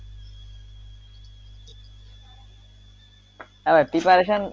হ্যাঁ preperation